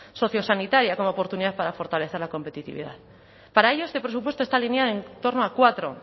sociosanitaria como oportunidad para fortalecer la competitividad para ello este presupuesto esta línea en torno a cuatro